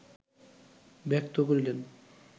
ব্যক্ত করিলেন